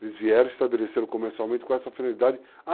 Eles vieram, estabeleceram comercialmente com essa finalidade. À